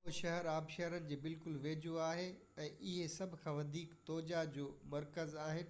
اهو شهر آبشارن جي بلڪل ويجهو آهي ۽ اهي سڀ کان وڌيڪ توجا جو مرڪز آهن